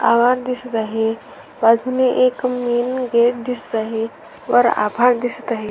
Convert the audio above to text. आभाळ दिसत आहे बाजूने एक मेन गेट दिसत आहे वर आभाळ दिसत आहे.